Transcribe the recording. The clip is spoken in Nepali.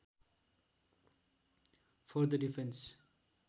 for the defence